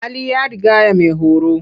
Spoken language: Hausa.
Hali ya rigaya maihoro.